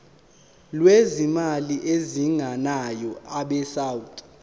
lwezimali ezingenayo abesouth